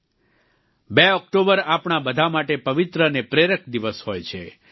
02 October આપણા બધા માટે પવિત્ર અને પ્રેરક દિવસ હોય છે